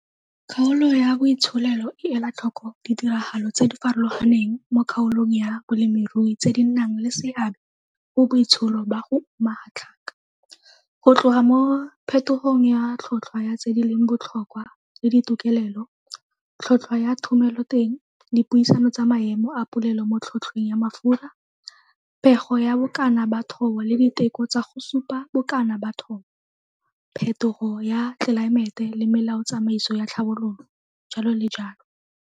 Kgaolo ya Boitsholelo e ela tlhoko ditiragalo tse di farologaneng mo kgaolong ya bolemirui tse di nnang le seabe go boitsholo ba go uma ga tlhaka, go tloga mo phethogogng ya tlhotlhwa ya tse di leng botlhokwa le ditokelelo, tlhotlhwa ya thomeloteng, dipuisano tsa maemo a polelo mo tlhotlhweng ya mafura, pego ya bokana ba thobo le diteko tsa go supa bokana ba thobo, phethogo ya tlelaemete le melaotsamaiso ya tlhabololo, jalo le jalo.